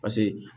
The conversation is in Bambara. Paseke